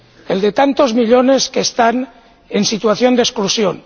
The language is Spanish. el de tantos millones que están en situación de exclusión.